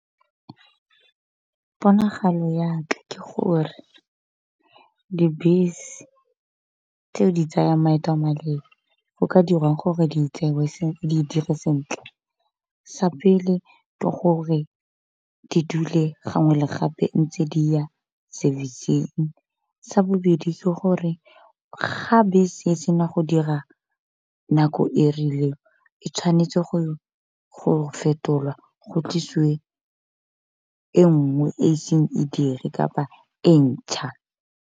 Ponagalo ya ka ke gore dibese tseo di tsayang maeto a maleele go ka dirwang gore di dire sentle, sa pele ke gore di dule gangwe le gape ntse di ya service-ng. Sa bobedi ke gore ga bese e sena go dira nako e rileng e tshwanetse go fetolwa go tlisiwe e nngwe e seng e dire kapa e ntšha.